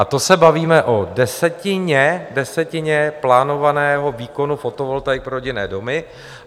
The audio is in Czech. A to se bavíme o desetině plánovaného výkonu fotovoltaik pro rodinné domy.